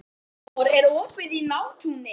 Amor, er opið í Nóatúni?